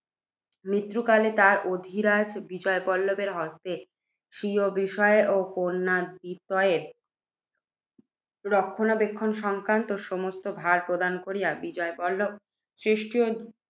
মৃত্যুকালে তিনি অধিরাজ বিজয়বল্লভের হস্তে স্বীয় বিষয়ের ও কন্যাদ্বিতয়ের রক্ষণাবেক্ষণ সংক্রান্ত সমস্ত ভার প্রদান করিয়া যান। বিজয়বল্লভ